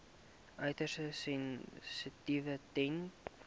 uiters sensitief ten